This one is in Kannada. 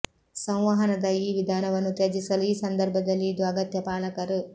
ಸಂವಹನದ ಈ ವಿಧಾನವನ್ನು ತ್ಯಜಿಸಲು ಈ ಸಂದರ್ಭದಲ್ಲಿ ಇದು ಅಗತ್ಯ ಪಾಲಕರು